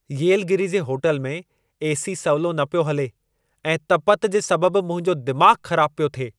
येलगिरी जे होटल में ए.सी. सवलो न पियो हले ऐं तपतु जे सबबु मुंहिंजो दिमागु़ ख़राबु पियो थिए!